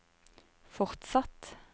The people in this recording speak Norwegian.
fortsatt